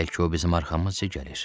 Bəlkə o bizim arxamızca gəlir.